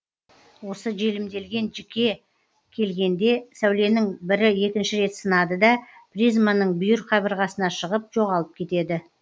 осы желімделген жікке келгенде сәуленің бірі екінші рет сынады да призманың бүйір қабырғасына шығып жоғалып кетеді